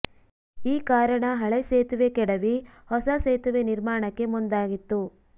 ಈ ಕಾರಣ ಹಳೆ ಸೇತುವೆ ಕೆಡವಿ ಹೊಸ ಸೇತುವೆ ನಿರ್ಮಾಣಕ್ಕೆ ಮುಂದಾಗಿತ್ತು